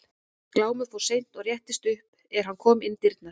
Glámur fór seint og réttist upp er hann kom inn í dyrnar.